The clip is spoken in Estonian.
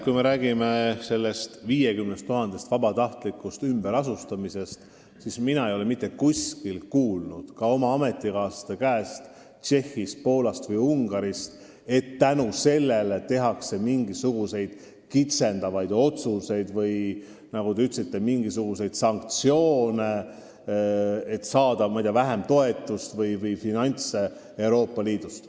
Kui me räägime 50 000 inimese vabatahtlikust ümberasustamisest, siis mina ei ole mitte kuskilt kuulnud, ka mitte oma ametikaaslaste käest Tšehhist, Poolast või Ungarist, et tehakse mingisuguseid nende toetusi piiravaid otsuseid ehk nagu te ütlesite, rakendatakse sanktsioone, andes neile vähem toetust või muid finantse Euroopa Liidust.